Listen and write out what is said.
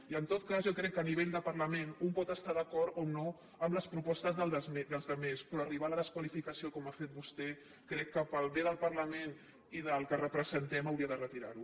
i en tot cas jo crec que a nivell de parlament un pot estar d’acord o no en les propostes dels altres però arribar a la desqualificació com ha fet vostè crec que pel bé del parlament i del que representem hauria de retirar ho